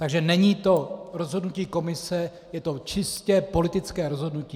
Takže není to rozhodnutí komise, je to čistě politické rozhodnutí.